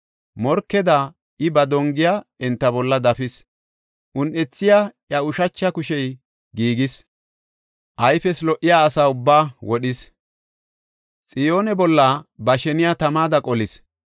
Morkeda I ba dongiya enta bolla dafis; un7ethiya iya ushacha kushey giigis. Ayfees lo77iya asa ubbaa wodhis; Xiyoone bolla ba sheniya tamada qolis.